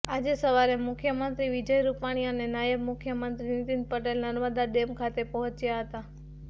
આજે સવારે મુખ્યમંત્રી વિજય રૂપાણી અને નાયબ મુખ્યંત્રી નીતિન પટેલ નર્મદા ડેમ ખાતે પહોંચ્યા હતા